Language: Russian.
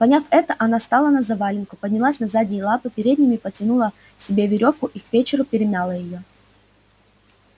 поняв это она стала на завалинку поднялась на задние лапы передними подтянула себе верёвку и к вечеру перемяла её